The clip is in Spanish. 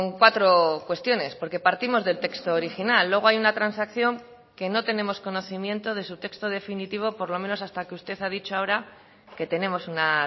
cuatro cuestiones porque partimos del texto original luego hay una transacción que no tenemos conocimiento de su texto definitivo por lo menos hasta que usted ha dicho ahora que tenemos una